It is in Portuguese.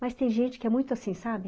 Mas tem gente que é muito assim, sabe?